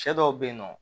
Cɛ dɔw be yen nɔ